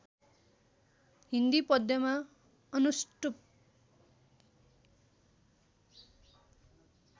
हिन्दी पद्यमा अनुष्टुप